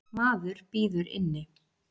Maðurinn bíður inni.